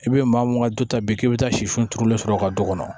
I bɛ maa mun ka du ta bi k'i bɛ taa sifoni sɔrɔ u ka du kɔnɔ